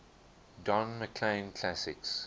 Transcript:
don mclean classics